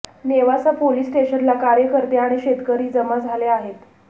Nevasa police स्टेशनला कार्यकर्ते आणि शेतकरी जमा झाले आहेत